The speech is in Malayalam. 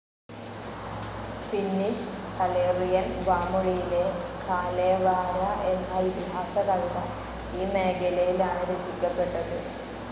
ഫിന്നിഷ്, കറേലിയൻ വാമൊഴിയിലെ കാലേവാര എന്ന ഇതിഹാസ കവിത ഈ മേഖലയിലാണ് രചിക്കപ്പെട്ടത്.